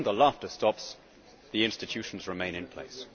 But when the laughter stops, the institutions remain in place.